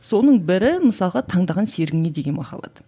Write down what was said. соның бір мысалға таңдаған серігіңе деген махаббат